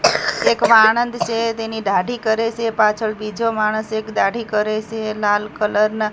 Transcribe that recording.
એક વાળંદ સે તેની દાઢી કરે સે પાછળ બીજો માણસ એક દાઢી કરે સે લાલ કલર ના --